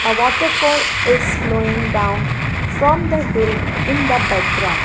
Water fall is flowing down from the hill in the background.